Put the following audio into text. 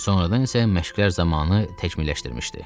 Sonradan isə məşqlər zamanı təkmilləşdirmişdi.